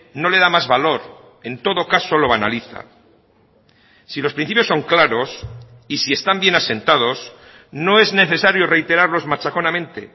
no le da más valor en todo caso lo banaliza si los principios son claros y si están bien asentados no es necesario reiterarlos machaconamente